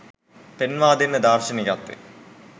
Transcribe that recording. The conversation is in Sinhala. පෙන්වා දෙන දාර්ශනිකත්වය